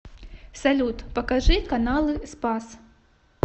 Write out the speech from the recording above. салют покажи каналы спас